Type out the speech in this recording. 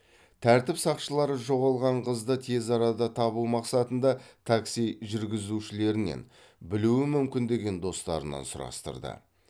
тәртіп сақшылары жоғалған қызды тез арада табу мақсатында такси жүргізушілерінен білуі мүмкін деген достарынан сұрастырды